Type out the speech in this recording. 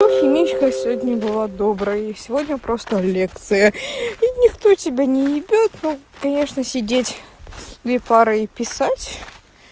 химичка сегодня была доброй и сегодня просто лекция и никто тебе не ибет конечно сидеть блефаро и писать